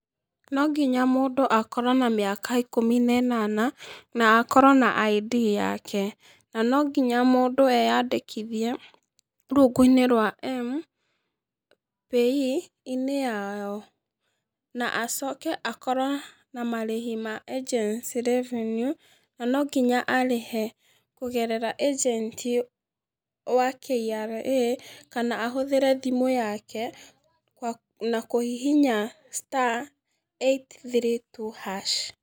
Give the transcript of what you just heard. No nginya mũndũ akorwo na mĩaka ĩkũmi na ĩnana na akorwo na ID yake, na no ngĩnya mũndũ eyandĩkithie rũngũ-inĩ rwa PAYE-inĩ yao, na acoke akorwo na marĩhĩ ma agency revenue na no ngĩnya arĩhe kũgerera agent wa KRA kana ahũthĩre thimũ yake na kũhihinya star eight three two hash.